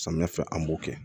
Samiyɛ fɛ an b'o kɛ